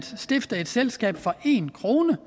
stifte et selskab for en kroner